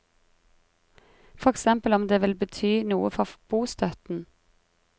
For eksempel om det vil bety noe for bostøtten.